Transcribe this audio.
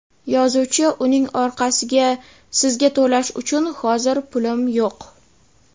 yozuvchi uning orqasiga: Sizga to‘lash uchun hozir pulim yo‘q.